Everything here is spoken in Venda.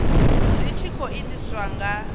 zwi tshi khou itiswa nga